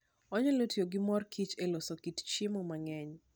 Onyalo tiyo gi mor kich e loso kit chiemo mang'eny.